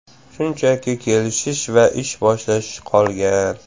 Shunchaki kelish va ish boshlash qolgan.